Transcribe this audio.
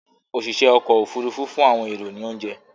oṣiṣẹ okọ́ òfurufú fún àwọn ẹrọ ní ounje